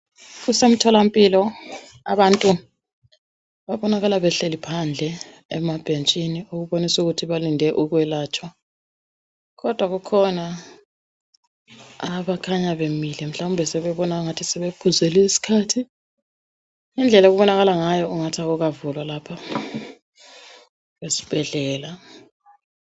Kusemtholampilo abantu babonakala behleli phandle emabhentshini okubonisa ukuthi balinde okwelatshwa kodwa kukhona abakhanya bemile mhlawumbe sebebona engathi sebephuzelwe yisikhathi ngendlela okubonakala ngayo ungathi akukavulwa lapha esibhedlela.